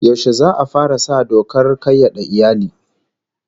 Yaushe za'a fara sa dokar kayyade iyali?